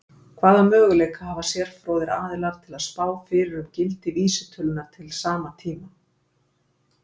Hvaða möguleika hafa sérfróðir aðilar til að spá fyrir um gildi vísitölunnar til sama tíma?